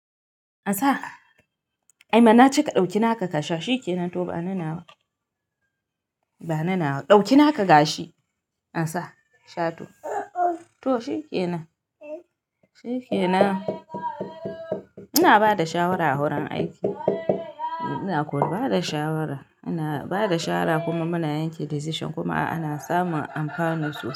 An sa. Aima na ce ka ɗauki naka ka sha shi ke nan to bani na nawa bani nawa. Ɗauki naka gashi an sa sha to. To shi ke nan. Shi ke nan. Ina ba da shawara a wurin aiki. Ina ko ba da shawara. Ina ba da shawara kuma muna yanke decision kuma ana samun amafani sosai.